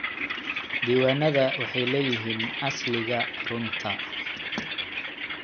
Diiwaanada waxay leeyihiin asliga runta.